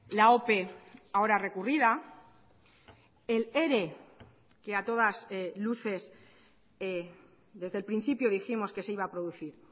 la ope ahora recurrida el ere que a todas luces desde el principio dijimos que se iba a producir